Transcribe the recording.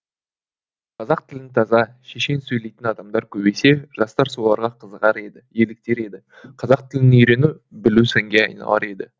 қазақ тілін таза шешен сөйлейтін адамдар көбейсе жастар соларға қызығар еді еліктер еді қазақ тілін үйрену білу сәнге айналар еді